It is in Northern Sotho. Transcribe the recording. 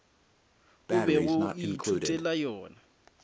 o bego o ithutela yona